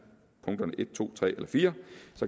to tre og fire